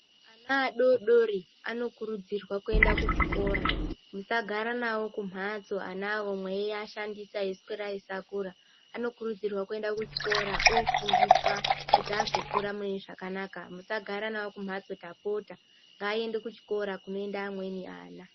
Ana adodori anokurudzirwa kuendakuchikora musagara navo kumhatso ana mweiashandisa aiswera eisakura. Anokurudzirwa kuenda kuchikora ofundiswa kuti azokura mune zvakanaka. Musagara navo kumhatso tapota ngaende kuchikora kunoenda amweni ana.